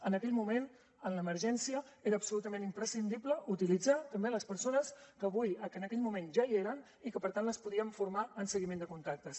en aquell moment en l’emergència era absolutament imprescindible utilitzar també les persones que en aquell moment ja hi eren i que per tant les podíem formar en seguiment de contactes